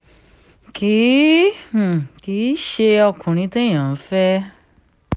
kì um í ṣe ọkùnrin téèyàn ń fẹ́